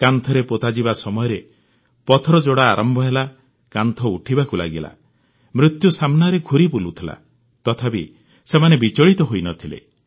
କାନ୍ଥରେ ପୋତାଯିବା ସମୟରେ ପଥର ଯୋଡ଼ା ଆରମ୍ଭ ହେଲା କାନ୍ଥ ଉଠିବାକୁ ଲାଗିଲା ମୃତ୍ୟୁ ସାମ୍ନାରେ ଘୁରି ବୁଲୁଥିଲା ତଥାପି ସେମାନେ ବିଚଳିତ ହୋଇନଥିଲେ